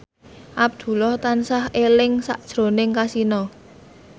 Abdullah tansah eling sakjroning Kasino